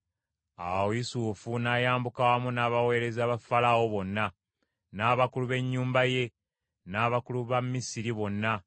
Awo Yusufu n’ayambuka wamu n’abaweereza ba Falaawo bonna, n’abakulu b’ennyumba ye, n’abakulu ba Misiri bonna,